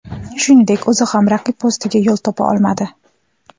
Shuningdek, o‘zi ham raqib postiga yo‘l topa olmadi.